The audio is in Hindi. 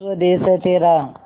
स्वदेस है तेरा